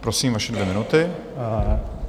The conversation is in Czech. Prosím, vaše dvě minuty.